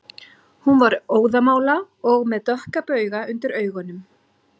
Hún var óðamála og með dökka bauga undir augunum